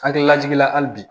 Hakililajigin na hali bi